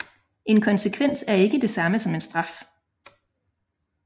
En konsekvens er ikke det samme som en straf